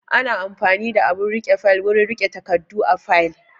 Ana amfani da abun riƙe fayil wurin riƙe takardu a fayil